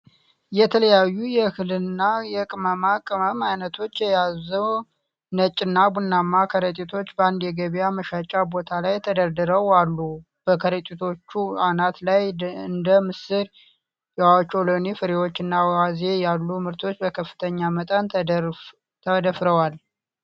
የተለያዩ የእህል እና የቅመማ ቅመም ዓይነቶችን የያዙ ነጭ እና ቡናማ ከረጢቶች በአንድ የገበያ መሸጫ ቦታ ላይ ተደርድረው አሉ። በከረጢቶቹ አናት ላይ እንደ ምስር፣ የኦቾሎኒ ፍሬዎችና አዋዜ ያሉ ምርቶች በከፍተኛ መጠን ተደፍረዋል።